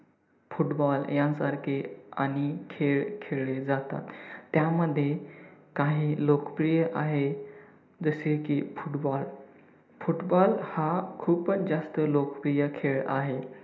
football यांसारखे अनेक खेळ खेळले जातात. त्या मध्ये काही लोकप्रिय आहे जसे की football, football हा खूपच जास्त लोकप्रिय खेळ आहे.